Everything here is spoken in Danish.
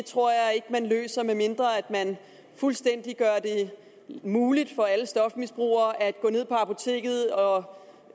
tror jeg ikke man løser medmindre man gør det muligt for alle stofmisbrugere at gå ned på apoteket og